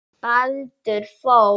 Baldur Þór.